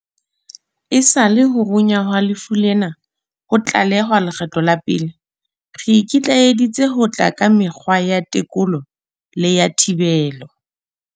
Esale ho runya ha lefu lena ho tlalehwa lekgetlo la pele re ikitlaeditse ka ho tla ka mekgwa ya tekolo le ya thibelo.